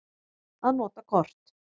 Að nota kort.